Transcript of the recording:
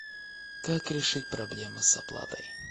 как решить проблемы с оплатой